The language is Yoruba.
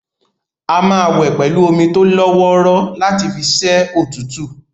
A máa wẹ̀ pẹ̀lú omi tólọ́wọ́rọ́ láti fi ṣẹ́ òtútù